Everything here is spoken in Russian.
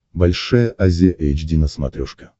большая азия эйч ди на смотрешке